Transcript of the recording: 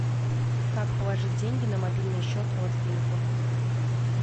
как положить деньги на мобильный счет родственнику